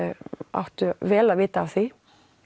áttu vel að vita af því